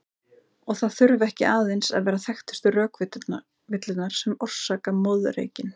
Og það þurfa ekki aðeins að vera þekktustu rökvillurnar sem orsaka moðreykinn.